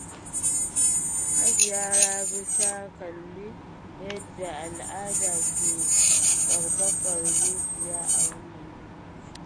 Hajiya Rabi ta kalli yadda al’ada ke ƙarfafa zuciya a wannan lokacin.